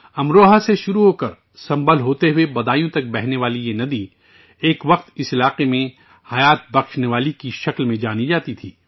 امروہہ سے شروع ہوکر سنبھل کے راستے بدایوں تک بہنے والی یہ ندی کبھی اس علاقے میں لائف لائن کے طور پر جانی جاتی تھی